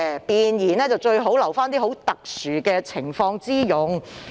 弁言最好留作這種特殊情況之用"。